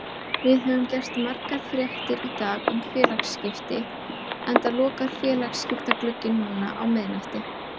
Við höfum gert margar fréttir í dag um félagaskipti enda lokar félagaskiptaglugginn núna á miðnætti.